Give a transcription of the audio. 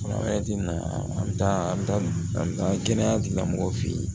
an bɛ taa an bɛ taa kɛnɛya tigilamɔgɔw fɛ yen